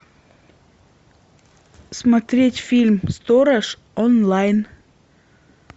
смотреть фильм сторож онлайн